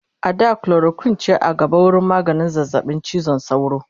a da chloroquine ce a gaba wurin maganin zazzaɓin cizon sauro